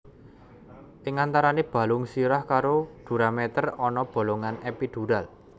Ing antarane balung sirah karo duramater ana bolongan epidural